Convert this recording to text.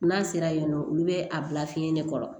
N'a sera yen nɔ olu bɛ a bila fiɲɛ de kɔrɔ